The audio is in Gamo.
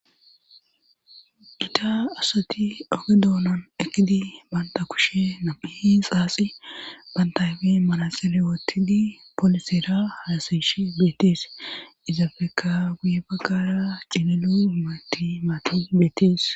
Ita asati oge doolan ekidi banta kushe nam7i xaasi bantayfi manaselewotidi polisira harasish beetees izafeka guye baggara cililu himati maati beetees